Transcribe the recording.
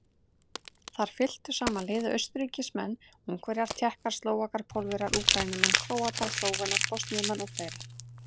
Þar fylktu saman liði Austurríkismenn, Ungverjar, Tékkar, Slóvakar, Pólverjar, Úkraínumenn, Króatar, Slóvenar, Bosníumenn og fleiri.